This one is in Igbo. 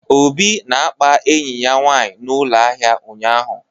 Obi na-akpa enyi ya nwanyị na ụlọ ahịa ụnyahụ